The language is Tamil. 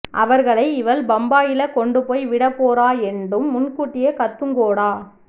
அவர்களை இவள் பம்பாயில கொண்டு போய் விடப்போறாள் எண்டும் முன்கூட்டியே கத்துங்கோடா